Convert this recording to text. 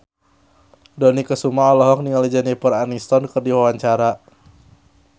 Dony Kesuma olohok ningali Jennifer Aniston keur diwawancara